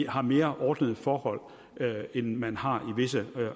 har mere ordnede forhold end man har i visse